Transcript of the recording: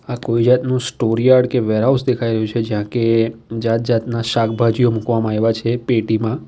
આ કોઈ જાતનો સ્ટોરયાર્ડ કે વેરહાઉસ દેખાઈ રહ્યું છે જ્યાં કે જાતના શાકભાજીઓ મૂકવામાં આઇવા છે પેટીમાં.